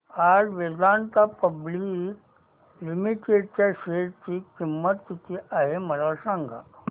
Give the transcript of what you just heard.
आज Vedanta public limited च्या शेअर ची किंमत किती आहे मला सांगा